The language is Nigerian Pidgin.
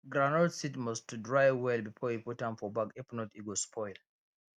groundnut seed must to dry well before you put am for bag if not e go spoil